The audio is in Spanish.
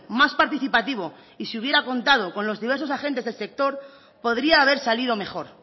más participativo y se hubiera contado con los diversos agentes del sector podría haber salido mejor